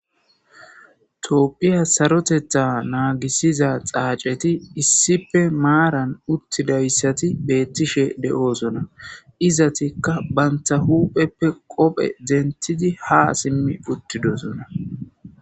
toopphiya sarotetha naagisiza xaaceti issipe maaran uttidayssati beettishe de7oosona izatikka bantha hupheppe qophe dentidi ha simmi uttidosona